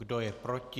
Kdo je proti?